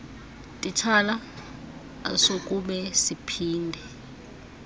titshala asokube siphinde